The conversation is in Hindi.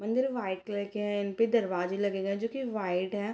मंदिर वाइट कलर के हैं इन पर दरवाजे लगे गए हैं जो कि वाइट है।